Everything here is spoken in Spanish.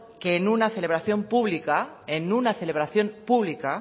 que en una celebración pública